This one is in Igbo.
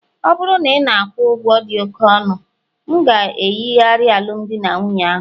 ọ bụrụ na ị na-akwụ ụgwọ dị oke ọnụ, m ga-eyigharị alụmdi na nwunye ahụ